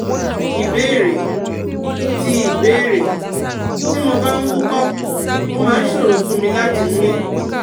Ìbéèrè: Tí Ìbéèrè: Tí mo bá ń wúkọ́, ó máa ń ṣòro fún mi láti mi